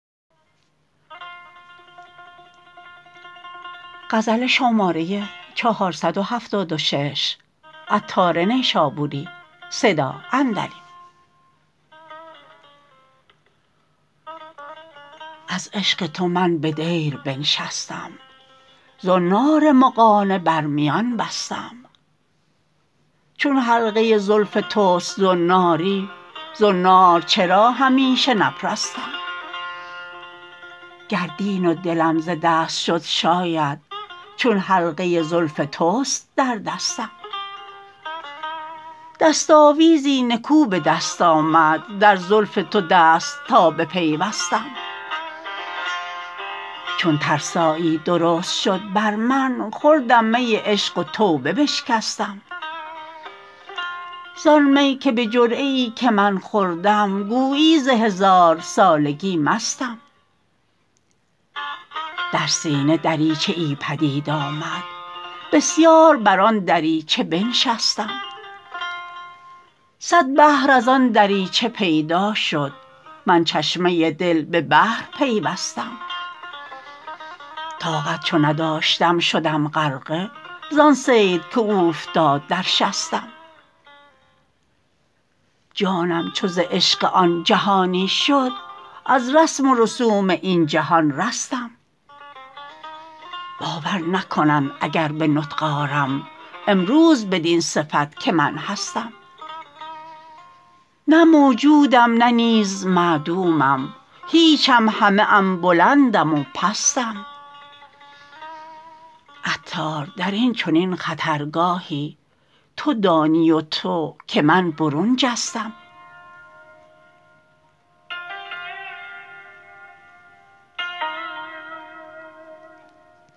از عشق تو من به دیر بنشستم زنار مغانه بر میان بستم چون حلقه زلف توست زناری زنار چرا همیشه نپرستم گر دین و دلم ز دست شد شاید چون حلقه زلف توست در دستم دست آویزی نکو به دست آمد در زلف تو دست تا بپیوستم چون ترسایی درست شد بر من خوردم می عشق و توبه بشکستم زان می که به جرعه ای که من خوردم گویی ز هزار سالگی مستم در سینه دریچه ای پدید آمد بسیار بر آن دریچه بنشستم صد بحر از آن دریچه پیدا شد من چشمه دل به بحر پیوستم طاقت چو نداشتم شدم غرقه زان صید که اوفتاد در شستم جانم چو ز عشق آن جهانی شد از رسم و رسوم این جهان رستم باور نکنند اگر به نطق آرم امروز بدین صفت که من هستم نه موجودم نه نیز معدومم هیچم همه ام بلندم و پستم عطار درین چنین خطرگاهی تو دانی و تو که من برون جستم